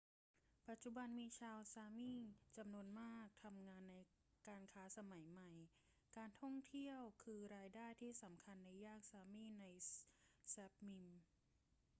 ปัจจุบันมีชาว sámi จำนวนมากทำงานในการค้าสมัยใหม่ การท่องเที่ยวคืิอรายได้ที่สำคัญในย่าน sámi ใน sápmi